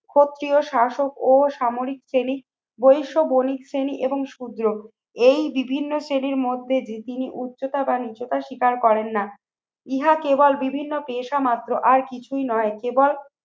ক্ষত্রিয় শাসক ও সামরিক শ্রেণী বৈষ বণিক শ্রেণী এবং শূদ্র এই বিভিন্ন শ্রেণীর মধ্যে দিয়ে তিনি উচ্চতা বা নিচুতা স্বীকার করেন না। ইহা কেবল বিভিন্ন পেশা মাত্র আর কিছুই নয়। কেবল